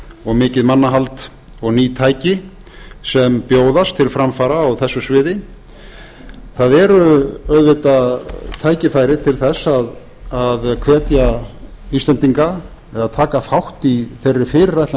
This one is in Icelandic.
og mikið mannahald og ný tæki sem bjóðast til framfara á þessu sviði það eru auðvitað tækifæri til að hvetja íslendinga eða taka þátt í þeirri fyrirætlan